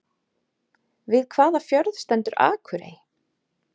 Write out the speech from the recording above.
Við hvaða fjörð stendur Akurey?